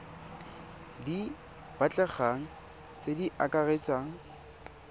di batlegang tse di akaretsang